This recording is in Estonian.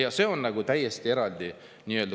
Ja see on nagu täiesti eraldi.